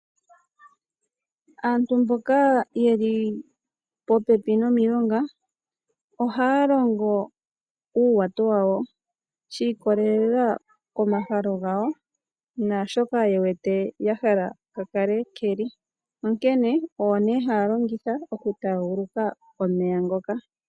Aantu mboka yeli popepi nomilonga ohaya longo uuwato wawo shi ikololela komahalo gawo naashoka ye wete ya hala ka kale keli onkene owo ne haya longitha oku taaguluka omeya ngoka.